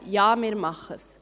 «Ja, wir machen es.»